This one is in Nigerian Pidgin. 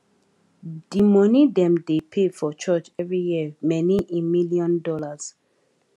d moni dem dey pay for church every year many in millions dollars